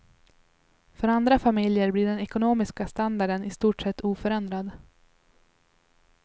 För andra familjer blir den ekonomiska standarden i stort sett oförändrad.